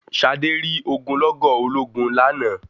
Ṣadé rí ogunlọ́gọ̀ ológun lánàá.